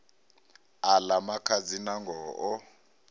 a ḽa makhadzi nangoho o